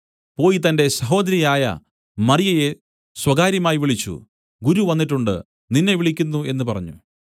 പോയി തന്റെ സഹോദരിയായ മറിയയെ സ്വകാര്യമായി വിളിച്ചു ഗുരു വന്നിട്ടുണ്ട് നിന്നെ വിളിക്കുന്നു എന്നു പറഞ്ഞു